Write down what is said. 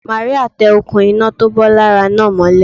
Màríà tẹ òkun iná tó bó lára náà mọ́lé